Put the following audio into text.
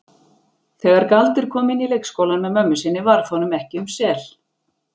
Þegar Galdur kom inn í leikskólann með mömmu sinni varð honum ekki um sel.